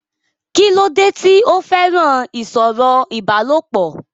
kí ló dé tí ó fẹ́ràn ìsọ̀rọ̀ ìbálòpọ̀?